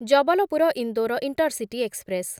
Jabalpur Indore intercity express